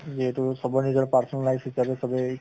যিহেতু চবৰ নিজৰ personal life হিচাবে চবে